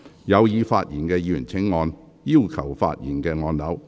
有意發言的議員請按"要求發言"按鈕。